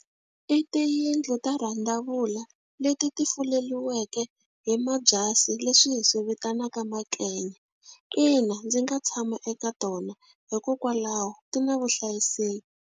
I tiyindlu ta randavula leti ti fuleriweke hi mabyasi, leswi hi swi vitanaka . Ina ndzi nga tshama eka tona, hikokwalaho ti na vuhlayiseki.